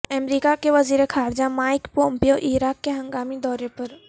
امریکہ کے وزیر خارجہ مائیک پومپیو عراق کے ہنگامی دورے پر